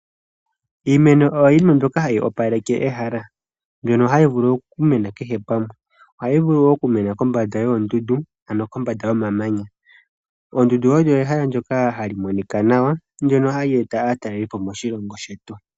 Iimeno oyo yimwe mbyoka hayi opaleke ehala mbyono hayi vulu oku mena kehe pamwe. Ohayi vulu okumena kombanda yoondundu ano kombanda yomamanya. Oondundu olyo ehala ndyoka hali monika nawa hali eta aatalelipo okuza moshilongo.